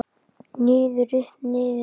Niður, upp, niður upp.